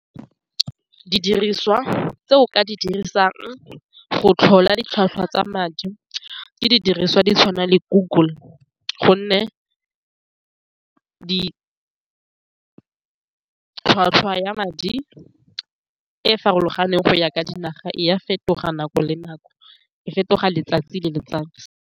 Di diriswa tse o ka di dirisang go tlhola ditlhwatlhwa tsa madi ke didiriswa di tshwana le google gonne di tlhwatlhwa ya madi e e farologaneng go ya ka dinaga e ya fetoga nako le nako e fetoga letsatsi le letsatsi.